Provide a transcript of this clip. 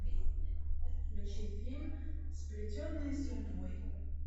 включи фильм сплетенные судьбой